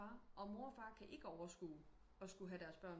Og far og mor og far kan ikke overskue at skulle have deres børn